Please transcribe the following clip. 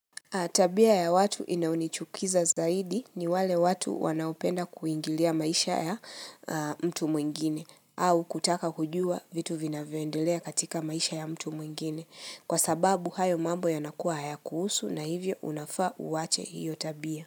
Tabia ya watu inayonichukiza zaidi ni wale watu wanaopenda kuingilia maisha ya mtu mwingine au kutaka kujua vitu vinavyoendelea katika maisha ya mtu mwingine kwa sababu hayo mambo yanakua hayakuhusu na hivyo unafaa uache hiyo tabia.